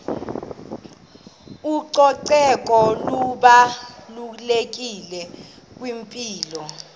ucoceko lubalulekile kwimpilo